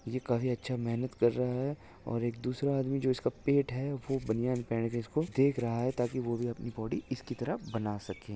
ये काफी अच्छा मेहनत कर रहा है और एक दूसरा आदमी इसका पेट है वो बनियान पहन के इसको देख रहा है ताकि वह भी अपनी बॉडी इसकी तरह बना सके।